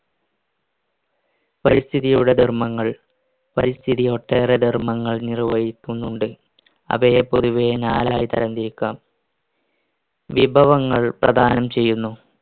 പരിസ്ഥിതിയുടെ ധർമ്മങ്ങൾ പരിസ്ഥിതി ഒട്ടേറെ ധർമ്മങ്ങൾ നിർവഹിക്കുന്നുണ്ട് അവയെ പൊതുവെ നാലായി തരം തിരിക്കാം വിഭവങ്ങൾ പ്രധാനം ചെയ്യുന്നു